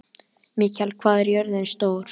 Mikjáll, hvað er jörðin stór?